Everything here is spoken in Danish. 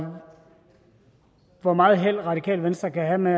og hvor meget held radikale venstre kan have med